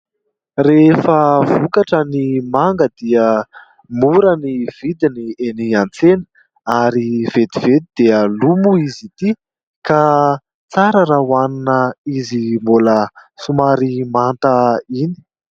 Rehefa vokatra ny manga dia mora ny vidiny eny an-tsena ary vetivety dia lo moa izy ity ka tsara raha hohanina izy mbola somary manta iny.